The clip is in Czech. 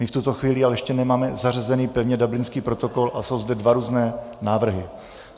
My v tuto chvíli ale ještě nemáme zařazen pevně Dublinský protokol a jsou zde dva různé návrhy.